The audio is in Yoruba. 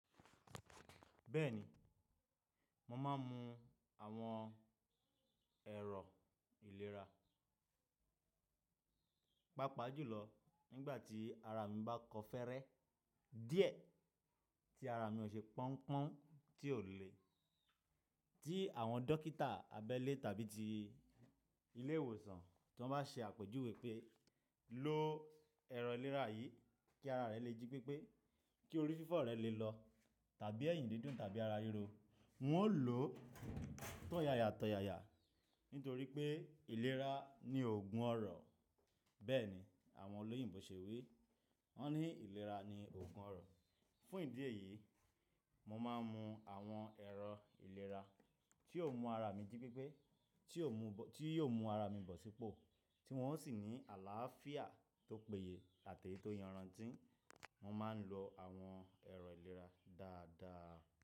Bẹ́ẹ̀ni, mo máa ń mu àwọn ẹ̀rọ ìlera, pàápàá jùlọ nígbà tí ara mi bá kọ́fẹ́rẹ́ díẹ̀, tí ara mi ò ṣe pọ́n-pọ́n, tí ò le, tí àwọn dókítà abẹ́lé tàbí ti ilé-ìwòsàn tí wọ́n bá ṣe àpèjúwe pé "lo lo ẹ̀rọ ìlera yìí kí ara rẹ lè jí pípé, kí orí fífọ́ rẹ lè lọ tàbí ẹ̀yìn dídùn tàbí ara ríro", n ó ò lò ó tóyaya-tọyaya, nítorí pé ìlera ni oògùn ọrọ̀. Bẹ́ẹ̀ ni àwọn olóyìnbó ṣe wí, wọ́n ní ìlera ni oògùn ọrọ̀. Fún ìdí èyí, mo máa ń mu àwọn ẹ̀rọ ìlera tí yóò mú ara mi jí pípé, tí yóò mú ara mi bọ̀ sípò, tí wọn ó sì ní àlàáfíà tó péye àti ètò iyànràn tí ń. Mo máa ń lo àwọn ẹ̀rọ ìlera dáadáa.